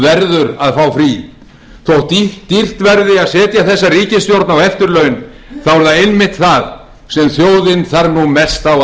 að fá frí þótt dýrt verði að setja þessa ríkisstjórn á eftirlaun